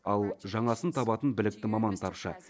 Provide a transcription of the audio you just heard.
ал жаңасын табатын білікті маман тапшы